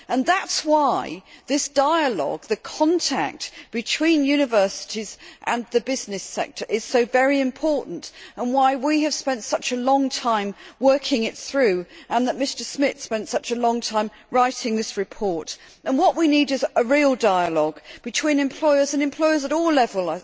That is why this dialogue the contact between universities and the business sector is so very important, why we have spent such a long time working it through and why Mr Schmitt spent such a long time writing this report. What we need is a real dialogue between employers, and employers at all levels,